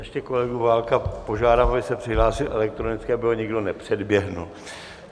Ještě kolegu Válka požádám, aby se přihlásil elektronicky, aby ho nikdo nepředběhl.